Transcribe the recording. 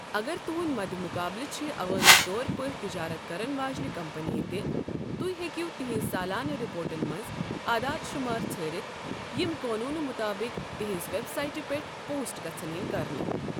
اگر تُہنٛد مَدِ مُقابَلہٕ چھِ عوٲمی طور پٲٹھۍ تجارت کرن واجنِہ کمپنیہِ تہِ۔ تُہۍ ہیٚکِو تہنٛز سالانہٕ رِپورٹن منٛز اعدادٕ شمار ژھٲرِتھ یِم قانونہٕ مُطٲبِق تہنٛزِ ویب سائٹہِ پٮ۪ٹھ پوسٹ گژھن یِن کرنہٕ۔